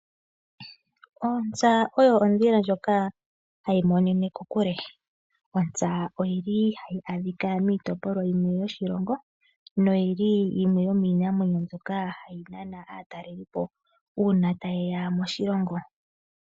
Ontsa oyo ondhila ndyoka hayi monene kokule. Ontsa oyili hayi adhika miitopolwa yimwe yoshilongo noyili yimweyominamwenyo mbyoka hayi nana aatalelipo uuna tayeya moshilongo.